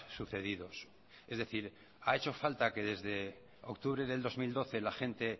sucedidos es decir ha hecho falta que desde octubre del dos mil doce la gente